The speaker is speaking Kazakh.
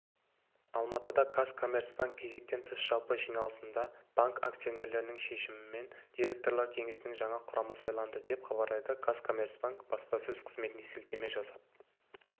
алматыда казкоммерцбанк кезектен тыс жалпы жиналысында банк акционерлерінің шешімімен директорлар кеңесінің жаңа құрамы сайланды деп хабарлайды казкоммерцбанк баспасөз қызметіне сілтеме жасап